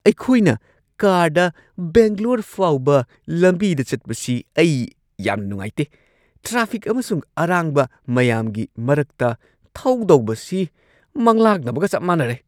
ꯑꯩꯈꯣꯏꯅ ꯀꯥꯔꯗ ꯕꯦꯡꯒ꯭ꯂꯣꯔ ꯐꯥꯎꯕ ꯂꯝꯕꯤꯗ ꯆꯠꯄꯁꯤ ꯑꯩ ꯌꯥꯝꯅ ꯅꯨꯡꯉꯥꯏꯇꯦ ꯫ ꯇ꯭ꯔꯥꯐꯤꯛ ꯑꯃꯁꯨꯡ ꯑꯔꯥꯡꯕ ꯃꯌꯥꯝꯒꯤ ꯃꯔꯛꯇ ꯊꯧꯗꯧꯕꯁꯤ ꯃꯪꯂꯥꯛꯅꯕꯒ ꯆꯞ ꯃꯥꯟꯅꯔꯦ!